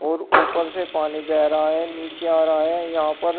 और ऊपर से पानी बह रहा है नीचे आ रहा है यहां पर--